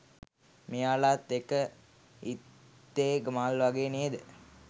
මෙයාලත් එක ඉත්තේ මල් වගේ නේද?